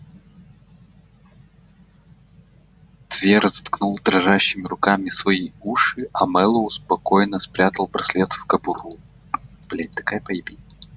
твер заткнул дрожащими руками свои уши а мэллоу спокойно спрятал браслет в кобуру блять такая поебень